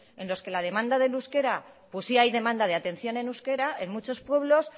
en los que la demanda del euskera pues sí hay demanda de atención en euskera en muchos pueblos